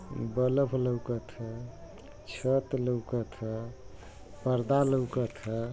बलब लउकत ह। छत लउकत ह। पर्दा लउकत ह।